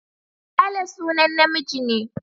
Sale sunan namiji ne.